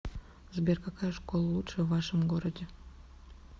сбер какая школа лучшая в вашем городе